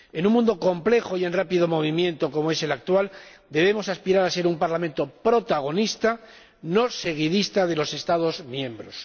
En un mundo complejo y en rápido movimiento como es el actual, debemos aspirar a ser un Parlamento protagonista, no seguidista de los Estados miembros.